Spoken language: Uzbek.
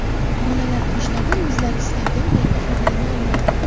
Bolalar toshlardan o‘zlari istagan paytda foydalana olmaydi.